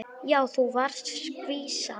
Já, þú varst skvísa.